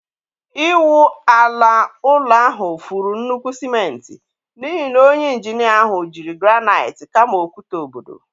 Ịwụ ala ụlọ ahụ furu nnukwu sịmentị n'ihi na onye injinia ahụ jiri granaịt kama okwute obodo.